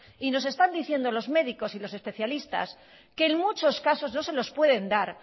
y nos están diciendo los médicos y los especialistas que en muchos casos no se los pueden dar